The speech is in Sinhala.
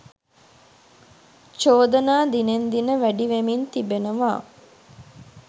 චෝදනා දිනෙන් දින වැඩිවෙමින් තිබෙනවා.